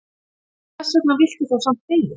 Hversvegna viltu þá samt deyja?